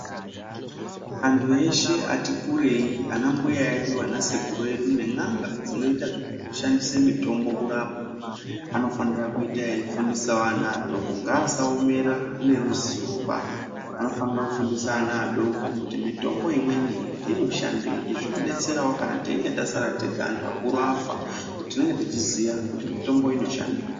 Antu eshe ati kurei ana mbuya edu, ana sekuru edu nen'anga dzinoita zvekushandisa mitomba kurapa vanofanira kuita veikufundisawo ana adoko ngasaomera neruzivoba. Anofanira kufundisa vana vadoko kuti mitombo imweni inoshandei. Izvi zvinodetserawo kana teinge tasara tega antu vakuru vafa ngekuti tinenge teiziya kuti mitombo oshadei.